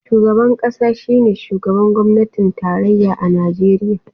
Shugaban kasa shine shugaban gwamnatin tarayya a Najeriya.